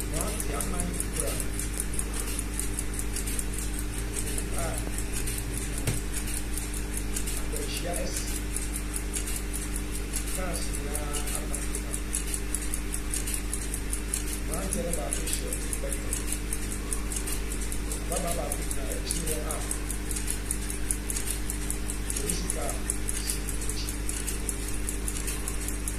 Mmeranteɛ nnan kura kotoku a biribi wɔ mu. Akwanhyia asi. Kaase nyinaa apaakepaake. Mmeranteɛ no baako hyɛ reflector. Ababaawa baako gyina akyire hɔ a polosi kaa si n'akyi.